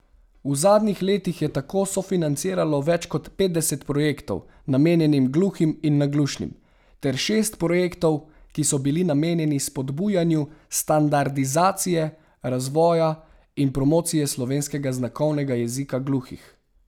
V zadnjih letih je tako sofinanciralo več kot petdeset projektov, namenjenih gluhim in naglušnim, ter šest projektov, ki so bili namenjeni spodbujanju standardizacije, razvoja in promocije slovenskega znakovnega jezika gluhih.